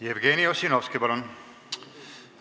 Jevgeni Ossinovski, palun!